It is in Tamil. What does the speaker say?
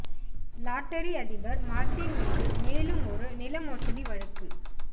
லாட்டரி அதிபர் மார்ட்டின் மீது மேலும் ஒரு நில மோசடி வழக்கு